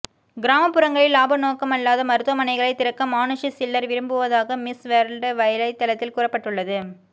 கிராமப்புறங்களில் லாப நோக்கமல்லாத மருத்துவமனைகளை திறக்க மானுஷி சில்லர் விரும்புவதாக மிஸ் வேர்ல்டு வலைத்தளத்தில் கூறப்பட்டுள்ளது